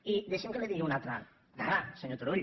i deixi’m que li digui una altra dada senyor turull